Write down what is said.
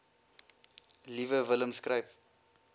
liewe willem skryf